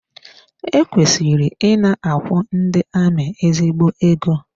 E kwesịrị ị na-akwụ ndị amị ezigbo ego.